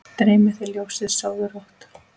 Dreymi þig ljósið, sofðu rótt